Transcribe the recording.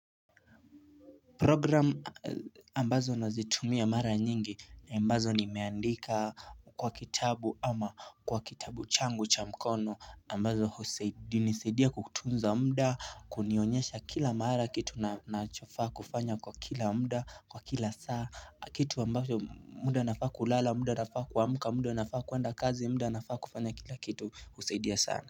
Programu ambazo nazitumia mara nyingi ambazo nimeandika kwa kitabu ama kwa kitabu changu cha mkono ambazo hunisaidia kutunza muda kunionyesha kila mara kitu na ninachofaa kufanya kwa kila muda kwa kila saa kitu ambacho muda nafaa kulala muda nafaa kuamka muda nafaa kwenda kazi muda nafaa kufanya kila kitu husaidia sana.